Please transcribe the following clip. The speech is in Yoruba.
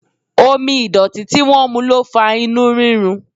Omi ìdọ̀tí tí wọ́n mu ló fa inú rírun.